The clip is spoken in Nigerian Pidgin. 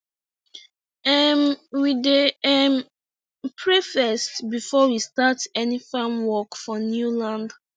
um we dey um pray first before we start any farm work for new land